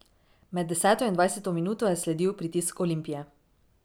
Med deseto in dvajseto minuto je sledil pritisk Olimpije.